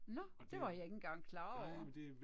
Nåh. Det var jeg ikke engang klar over